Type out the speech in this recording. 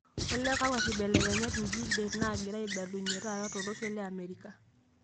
olly kakua kibelekenyat enji det naagira aibalunye taata tolosho leamerica